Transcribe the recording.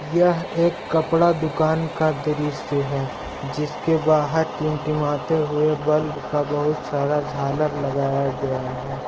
यह एक कपड़ा दुकान का दृश्य है जिसके बाहर टिमटिमाते हुए बल्ब का बहुत सारा झालर लगाया गया है।